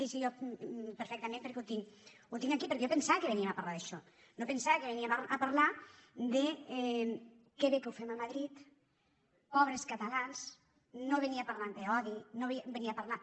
jo perfectament perquè ho tinc aquí perquè jo pensava que veníem a parlar d’això no pensava que veníem a parlar de que bé que ho fem a madrid pobres catalans no venia a parlar d’odi no venia a parlar